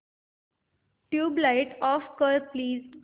tubelight off कर please